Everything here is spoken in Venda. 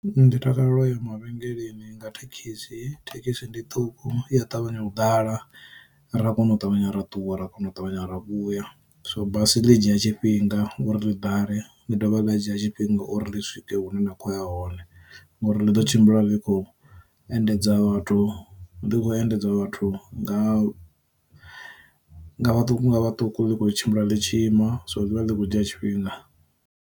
Ndi takalela uya ma vhengeleni nga thekhisi, thekhisi ndi ṱhuku iya ṱavhanya u ḓala ra kono u ṱavhanya ra ṱuwa ra kona u ṱavhanya ra vhuya. So basi ḽi dzhia tshifhinga uri ḽi ḓale ḽi dovha ḽa dzhia tshifhinga uri ḽi swike hune na khoya hone, ngori ḽi ḓo tshimbila ḽi khou endedza vhathu ḽi khou endedza vhathu nga vhaṱuku nga vhaṱuku ḽi khou tshimbila ḽi tshi ima, so ḽivha ḽi kho dzhia tshifhinga.